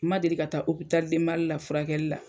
Ma deli ka taa Hôpital du Mali la furakɛli la.